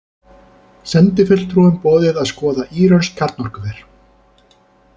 Sendifulltrúum boðið að skoða írönsk kjarnorkuver